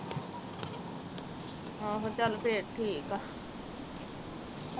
ਆਹੋ ਚੱਲ ਫਿਰ ਠੀਕ ਆ